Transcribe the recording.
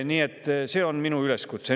Nii et see on minu üleskutse.